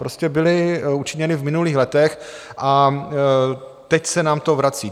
Prostě byly učiněny v minulých letech a teď se nám to vrací.